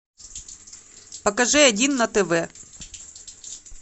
покажи один на тв